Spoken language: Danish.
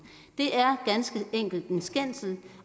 det er ganske enkelt en skændsel